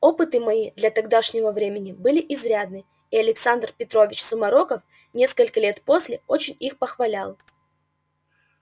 опыты мои для тогдашнего времени были изрядны и александр петрович сумароков несколько лет после очень их похвалял